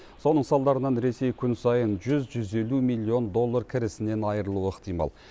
соның салдарынан ресей күн сайын жүз жүз елу миллион доллар кірісінен айырылуы ықтимал